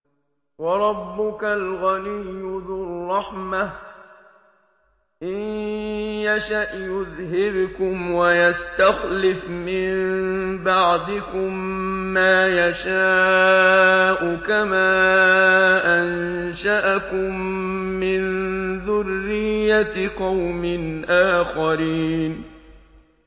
وَرَبُّكَ الْغَنِيُّ ذُو الرَّحْمَةِ ۚ إِن يَشَأْ يُذْهِبْكُمْ وَيَسْتَخْلِفْ مِن بَعْدِكُم مَّا يَشَاءُ كَمَا أَنشَأَكُم مِّن ذُرِّيَّةِ قَوْمٍ آخَرِينَ